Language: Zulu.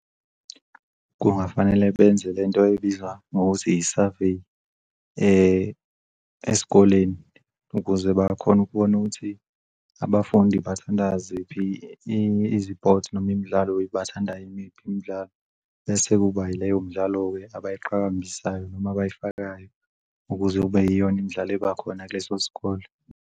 Kungafanele benze lento ebizwa ngokuthi i-survey esikoleni, ukuze bakhone ukubona ukuthi abafundi bathanda ziphi izipothi noma imidlalo obayithandayo, imiphi imidlalo bese kuba yileyo mdlalo-ke abayiqhakambisayo noma abayifakayo ukuze kube yiyona imidlalo ebakhona kuleso sikole.